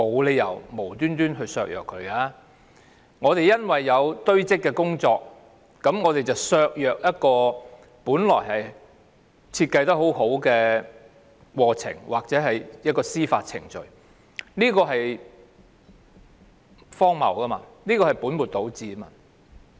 司法機構須處理的案件堆積如山，削弱了本來設計得非常好的司法程序，這是荒謬和本末倒置的。